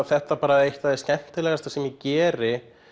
þetta bara eitt af því skemmtilegasta sem ég geri